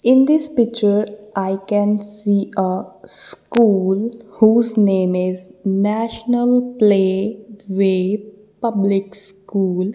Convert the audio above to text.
in this picture I can see ah school whose name is National play way public School.